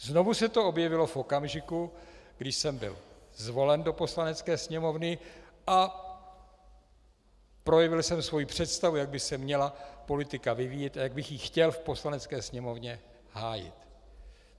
Znovu se to objevilo v okamžiku, kdy jsem byl zvolen do Poslanecké sněmovny a projevil jsem svoji představu, jak by se měla politika vyvíjet a jak bych ji chtěl v Poslanecké sněmovně hájit.